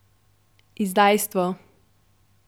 Izdajstvo.